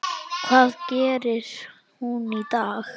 Hvað gerir hún í dag?